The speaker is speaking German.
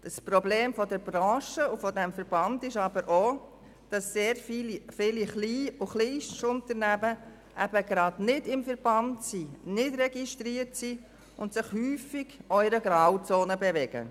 Das Problem der Branche und des Verbands ist aber auch, dass sehr viele Klein- und Kleinstunternehmen gerade nicht im Verband und nicht registriert sind und sich häufig in einer Grauzone bewegen.